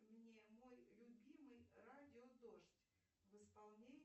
мне мой любимый радио дождь в исполнении